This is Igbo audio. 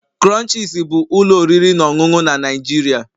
Crunches bụ ụlọ oriri na ọṅụṅụ na Nigeria